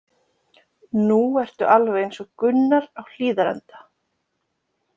Nú ertu alveg eins og Gunnar á Hlíðarenda.